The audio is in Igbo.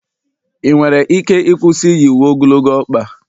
ị nwere ike ịkwụsị iyi uwe ogologo ọkpa?